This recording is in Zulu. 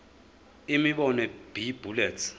imibono b bullets